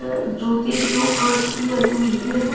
जूते की रो कांच की बनी हुई है।